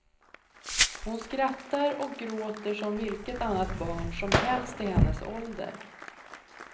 Hon skrattar och gråter som vilket annat barn som helst i hennes ålder.